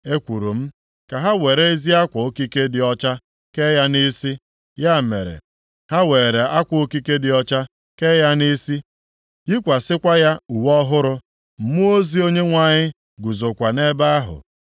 Ekwuru m, “Ka ha were ezi akwa okike dị ọcha kee ya nʼisi.” Ya mere ha weere akwa okike dị ọcha kee ya nʼisi, yikwasịkwa ya uwe ọhụrụ. Mmụọ ozi Onyenwe anyị guzokwa nʼebe ahụ.